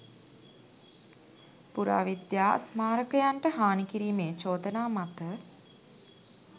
පුරාවිද්‍යා ස්මාරකයන්ට හානි කිරීමේ චෝදනා මත